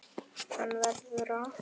Hann verður það.